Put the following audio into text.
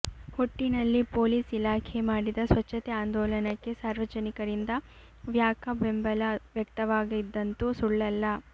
ಒಟ್ಟಿನಲ್ಲಿ ಪೊಲೀಸ್ ಇಲಾಖೆ ಮಾಡಿದ ಸ್ವಚ್ಛತೆ ಆಂದೋಲನಕ್ಕೆ ಸಾರ್ವಜನಿಕರಿಂದ ವ್ಯಾಕ ಬೆಂಬಲ ವ್ಯಕ್ತವಾಗಿದಂತ್ತು ಸುಳ್ಳಲ್ಲ